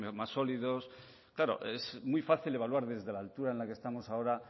más sólidos claro es muy fácil evaluar desde la altura en la que estamos ahora